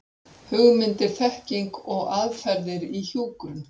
Hugmyndir, þekking og aðferðir í hjúkrun.